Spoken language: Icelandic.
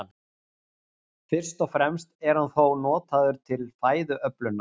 Fyrst og fremst er hann þó notaður til fæðuöflunar.